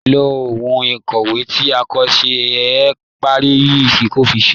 Lo ohun ìkọ̀wé tí kò ṣe é parẹ́ yìí fi kọṣẹ́.